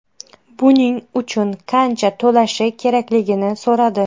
Buning uchun qancha to‘lashi kerakligini so‘radi.